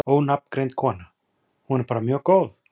Ónafngreind kona: Hún er bara mjög góð?